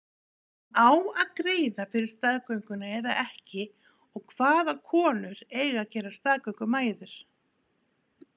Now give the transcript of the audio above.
En á að greiða fyrir staðgönguna eða ekki og hvaða konur eiga að gerast staðgöngumæður?